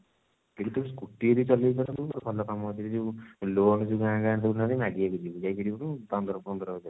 ତୁ ବି ତ scooty ଯଦି ଚଳେଇ ପାରନ୍ତୁ ଗୋଟେ ଭଲ କାମ ଅଛି ଯଉ loan ଯଉ ଗାଁ ଗାଁ ବୁଲୁନାହାନ୍ତି ଯଉ ମାଗି ମାଗି ଯିବୁ ଯାଇକି ସେଉଠୁ ଦେ